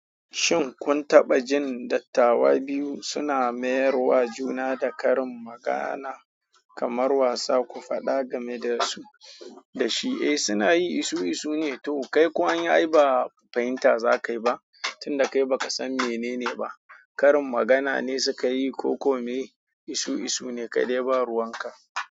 Shin kun taɓa jin dattawa biyu suna mayarwa juna da karin magana kamar wasa, ku faɗa game da su da shi? Eh, suna yi isue ne. To kai kuwa an yi ba fahinta za ka yi ba tun da kai ba ka san menene ba. Karin magana ne suka yi ko kome isu isu ne kai dai ba ruwanka.